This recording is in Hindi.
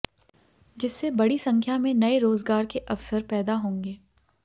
जिससे बड़ी संख्या में नए रोजगार के अवसर पैदा होंगे